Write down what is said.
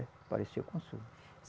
Apareceu o consumo